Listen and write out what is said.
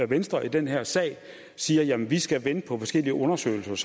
venstre i den her sag siger at vi skal vente på forskellige undersøgelser og